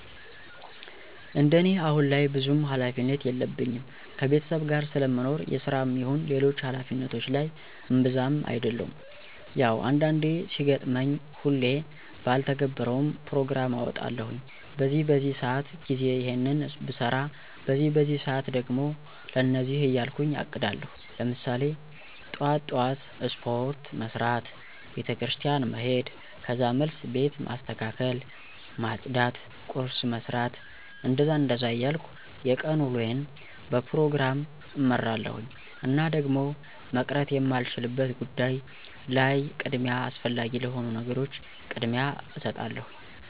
እንደኔ አሁን ላይ ብዙም ሀላፊነት የለኝም ከቤተሰብ ጋር ስለምኖር የስራም ይሁን ሌሎች ሀላፊነቶች ላይ እብዛም አደሉም። ያው አንዳንዴ ሲገጥመኝ ሁሌ ባልተገብረውም ፕሮግራም አወጣለሁኝ በዚህ በዚህ ሰአት ጊዜ ይሔንን ብሰራ በዚህ በዚህ ሰአት ደግሞ ለእንደዚህ እያልኩ አቅዳለሁኝ። ለምሳሌ ጥዋት ጥዋት ስፖርት መስራት፣ ቤተክርስቲያን መሔድ ከዛ መልስ ቤት ማስተካከል ማፅዳት ቁርስ መስራት... እንደዛ እንደዛ እያልኩ የቀን ውሎየን በፕሮግራም እመራለሁኝ። እና ደግሞ መቅረት የማይቻልበት ጉዳይ ላይ ቅድሚያ አስፈላጊ ለሆኑ ነገሮች ቅድሚያ እሰጣለሁኝ።